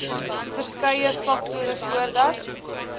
verskeie faktore voordat